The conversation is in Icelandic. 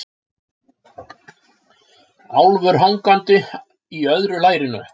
Álfur hangandi í öðru lærinu.